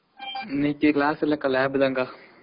இல்ல lab தான எப்படி இருக்கு காலேஜ்?